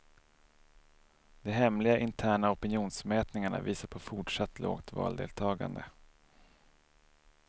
De hemliga, interna opinionsmätningarna visar på fortsatt lågt valdeltagande.